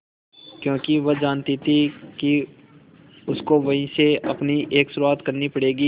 क्योंकि वह जानती थी कि उसको वहीं से अपनी एक शुरुआत करनी पड़ेगी